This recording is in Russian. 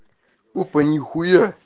опа нихуя